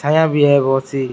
छाया भी है बहुत सी।